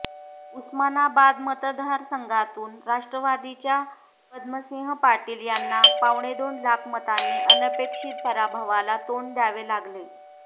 उस्मानाबाद मतदारसंघातून राष्ट्रवादीच्या पद्मसिंह पाटील यांना पावणेदोन लाख मतांनी अनपेक्षित पराभवाला तोंड द्यावे लागले